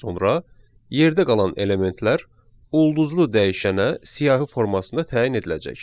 Sonra yerdə qalan elementlər ulduzlu dəyişənə siyahı formasında təyin ediləcək.